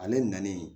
Ale nanen